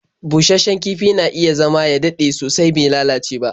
Busasshen kifi na iya zama ya dade sosai bai lalace ba.